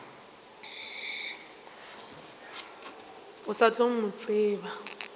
o sa tla mo tseba